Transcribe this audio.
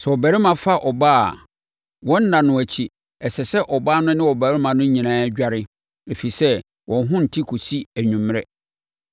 Sɛ ɔbarima fa ɔbaa a, wɔn nna no akyi, ɛsɛ sɛ ɔbaa no ne ɔbarima no nyinaa dware, ɛfiri sɛ, wɔn ho nte kɔsi anwummerɛ.